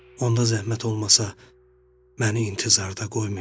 Onda zəhmət olmasa məni intizarda qoymayın.